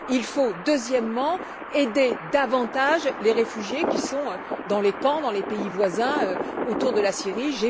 Il faut, deuxièmement, aider davantage les réfugiés qui sont dans les camps des pays voisins, autour de la Syrie.